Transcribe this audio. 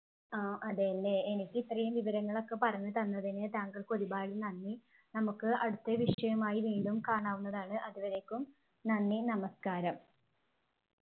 ആഹ് അതെയല്ലേ എനിക്ക് ഇത്രയും വിവരങ്ങളൊക്കെ പറഞ്ഞു തന്നതിന് താങ്കൾക്ക് ഒരുപാട് നന്ദി നമുക്ക് അടുത്ത വിഷയവുമായി വീണ്ടും കാണാവുന്നതാണ് അതുവരെക്കും നന്ദി നമസ്കാരം